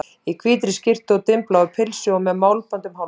Í hvítri skyrtu og dimmbláu pilsi og með málband um hálsinn.